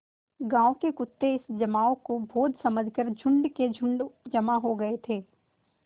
गाँव के कुत्ते इस जमाव को भोज समझ कर झुंड के झुंड जमा हो गये थे